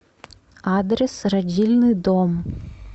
адрес родильный дом